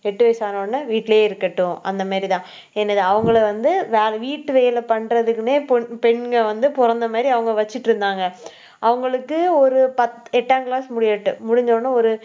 எட்டு வயசான உடனே வீட்டிலேயே இருக்கட்டும். அந்த மாதிரிதான் என்னது அவங்களை வந்து, வேற வீட்டு வேலை பண்றதுக்குன்னே பொண்~ பெண்கள் வந்து பிறந்த மாதிரி அவங்க வச்சுட்டிருந்தாங்க அவங்களுக்கு ஒரு எட்டாம் class முடியட்டும். முடிஞ்ச உடனே ஒரு